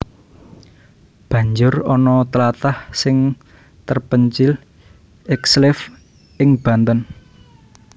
Banjur ana tlatah sing terpencil ekslave ing Banten